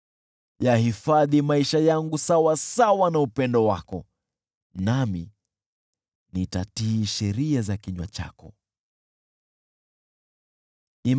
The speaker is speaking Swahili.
Yahifadhi maisha yangu sawasawa na upendo wako, nami nitatii sheria za kinywa chako.